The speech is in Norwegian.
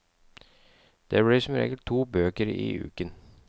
Det blir som regel to bøker i uken.